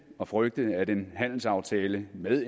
at frygte at en handelsaftale med